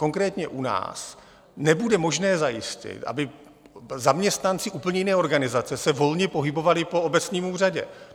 Konkrétně u nás nebude možné zajistit, aby zaměstnanci úplně jiné organizace se volně pohybovali po obecním úřadě.